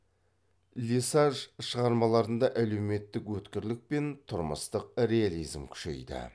лесаж шығармаларында әлеуметтік өткірлік пен тұрмыстық реализм күшейді